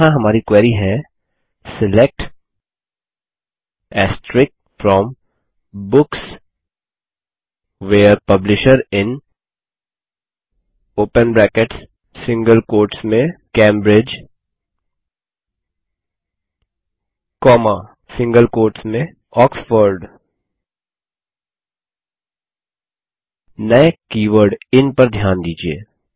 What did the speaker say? और यहाँ हमारी क्वेरी हैSELECT from books where publisher in Cambridge Oxford नये कीवर्ड इन पर ध्यान दीजिये